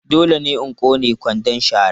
Dole ne in ƙone kwandon shara.